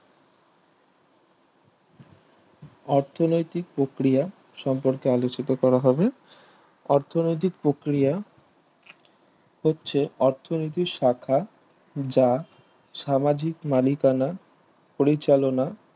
অর্থনৈতিক প্রক্রিয়া সম্পর্কে আলোচিত করা হবে অর্থনৈতিক প্রক্রিয়া হচ্ছে অর্থনৈতিক শাখা যা সামাজিক মালিকানা পরিচালনা